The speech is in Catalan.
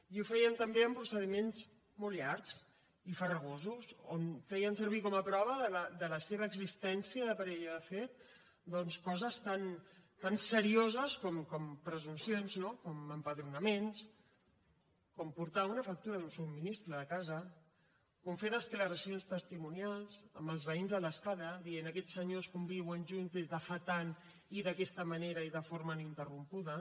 i ho feien també amb procediments molt llargs i farragosos on feien servir com a prova de la seva existència de parella de fet doncs coses tan serioses com presumpcions no com empadronaments com portar una factura d’un subministrament de casa com fer declaracions testimonials amb els veïns de l’escala dient aquests senyors conviuen junts des de fa tant i d’aquesta manera i de forma ininterrompuda